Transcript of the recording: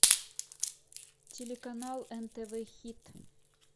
телеканал нтв хит